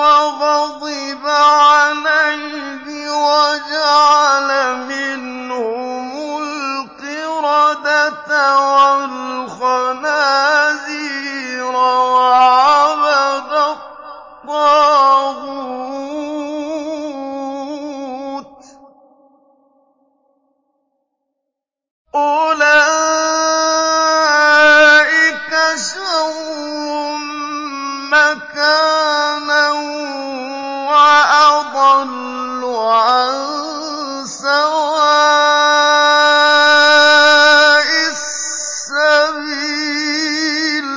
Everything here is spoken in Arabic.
وَغَضِبَ عَلَيْهِ وَجَعَلَ مِنْهُمُ الْقِرَدَةَ وَالْخَنَازِيرَ وَعَبَدَ الطَّاغُوتَ ۚ أُولَٰئِكَ شَرٌّ مَّكَانًا وَأَضَلُّ عَن سَوَاءِ السَّبِيلِ